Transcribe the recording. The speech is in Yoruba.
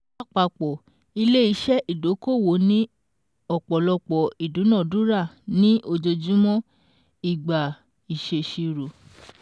Lápapọ̀, ilé-iṣẹ́ ìdókòwò ni ọ̀pọ̀lọpọ̀ ìdúnadúrà ní ojoojúmọ́ ìgbà ìṣèṣirò